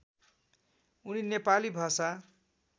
उनी नेपाली भाषा